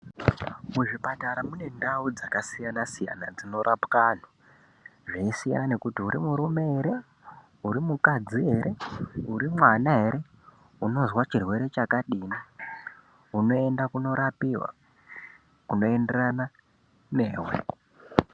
Muzvipatara mune ndau dzakasiyana-siyana dzinorapwa antu. Zviisiyana nekuti uri murume ere, uri mukadzi ere, uri mwana ere, unoza chirwere chakadini unoenda kunorapiva kunoenderana neve.